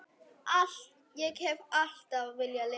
Ég hef alltaf viljað lifa.